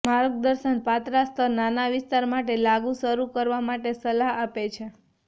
માર્ગદર્શન પાતળા સ્તર નાના વિસ્તાર માટે લાગુ શરૂ કરવા માટે સલાહ આપે છે